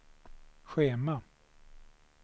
schema